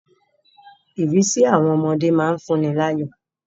Ìrísí àwọn ọmọdé má ń fún ni láyọ̀